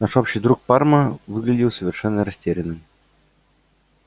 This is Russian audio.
наш общий друг парма выглядел совершенно растерянным